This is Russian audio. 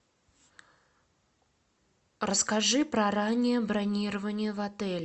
расскажи про раннее бронирование в отеле